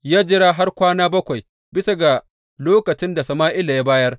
Ya jira har kwana bakwai bisa ga lokacin da Sama’ila ya bayar.